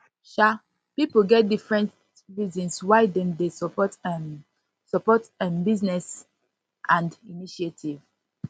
um pipo get different reasons why dem de support um support um businesses and initiative